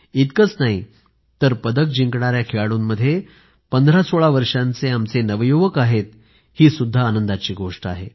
इतकंच नाही तर पदक जिंकणाऱ्या खेळाडूंमध्ये 1516 वर्षांचे आमचे नवयुवक आहेत ही सुद्धा आनंदाची गोष्ट आहे